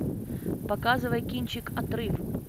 показывай кинчик отрыв